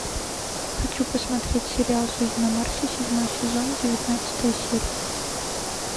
хочу посмотреть сериал жизнь на марсе седьмой сезон девятнадцатая серия